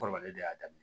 Kɔrɔlen de y'a daminɛ